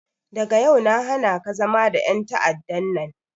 Daga yau na hanaka zama da en ta'adda nan!